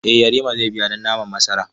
Eh Yarima zai biya don naman masaran.